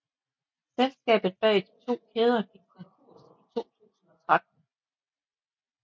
Selskabet bag de to kæder gik konkurs i 2013